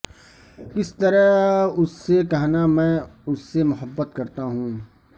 کس طرح اس سے کہنا میں اس سے محبت کرتا ہوں کہ